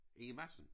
Inge Madsen